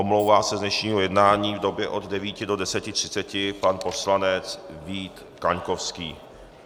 Omlouvá se z dnešního jednání v době od 9 do 10.30 pan poslanec Vít Kaňkovský.